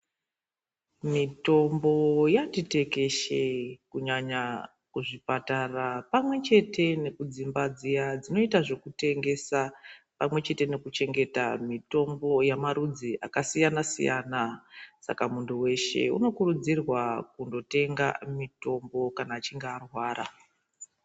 Mitombo yati tekeshe kunyanya kuzvipatara pamwe chete nekudzimba dziya dzinoita zvekutengesa pamwe chete nekuchengeta mitombo yamarudzi akasiyana siyana saka muntu weshe unokurudzirwa kundotenga mitombo kana achinge arwara.